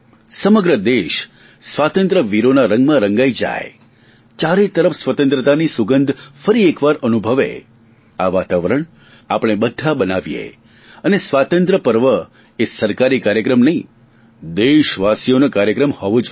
સમગ્ર દેશ સ્વાતંત્ર્ય વીરોના રંગમાં રંગાઇ જાય ચારે તરફ સ્વતંત્રતાની સુગંધ ફરી એકવાર અનુભવે આ વાતાવરણ આપણે બધા બનાવીએ અને સ્વાતંત્ર્ય પર્વ એ સરકારી કાર્યક્રમ નહીં દેશવાસીઓનો કાર્યક્રમ હોવો જોઈએ